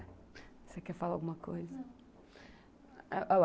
Você quer falar alguma coisa? Não.